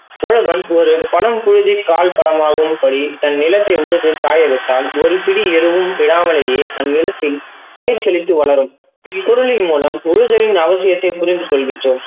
உழவன் ஒரு பழம் பழுக்கி காய் பழமாகும் படி தன் நிலத்தை உழுது காய வைத்தான் ஒரு பிடி எருவும் விடாமலையே அந்நிலத்தில் பயிர் எப்படி வளரும் இக்குருளின் மூலம் உழுதலின் அவசியத்தை புரிந்து கொள்கிறோம்.